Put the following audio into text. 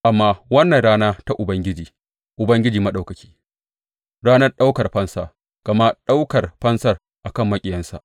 Amma wannan rana ta Ubangiji, Ubangiji Maɗaukaki ranar ɗaukar fansa, gama ɗaukar fansa a kan maƙiyansa.